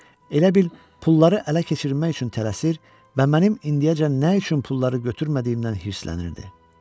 Elə bil pulları ələ keçirmək üçün tələsir və mənim indiyəcən nə üçün pulları götürmədiyimdən hirslənirdi.